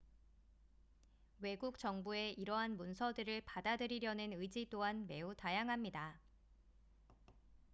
외국 정부의 이러한 문서들을 받아들이려는 의지 또한 매우 다양합니다